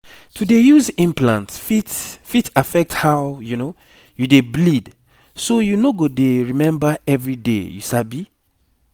to dey use implants fit fit affect how you dey bleed so you no go dey remember everyday you sabi